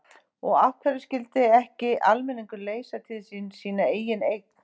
Og af hverju skyldi ekki almenningur leysa til sín sína eigin eign?